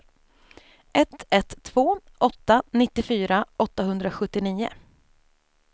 ett ett två åtta nittiofyra åttahundrasjuttionio